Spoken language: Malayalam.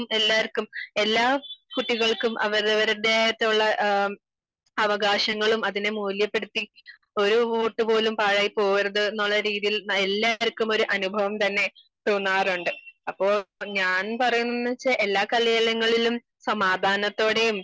നമുക്കും എല്ലാവര്ക്കും എല്ലാ കുട്ടികൾക്കും അവരവരുടേതായിട്ടുള്ള അവകാശങ്ങളും അതിനെ മൂല്യപ്പെടുത്തി ഒരു വോട്ട് പോലും പാഴായി പോകരുത് എന്നുള്ള രീതിയിൽ എല്ലാവര്ക്കും ഉള്ള ഒരു അനുഭവം തന്നെ തോന്നാറുണ്ട് അപ്പോ ഞാൻ പറയുന്നത് വെച്ചാൽ എല്ലാ കലാലയങ്ങളിലും സമാധാനത്തോടെയും